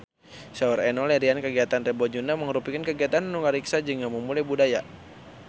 Saur Enno Lerian kagiatan Rebo Nyunda mangrupikeun kagiatan anu ngariksa jeung ngamumule budaya Sunda